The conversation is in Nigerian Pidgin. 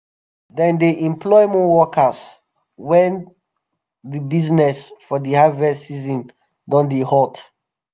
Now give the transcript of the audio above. dem dey employ more workers wen di biznes for di harvest season don um dey hot. um